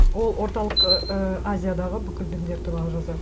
ол орталық і азиядағы бүкіл діндер туралы жазады